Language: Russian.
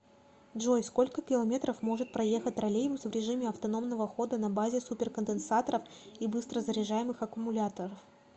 джой сколько километров может проехать троллейбус в режиме автономного хода на базе суперконденсаторов и быстрозаряжаемых аккумуляторов